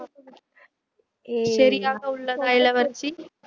ஏய் சரியாக உள்ளதா இளவரசி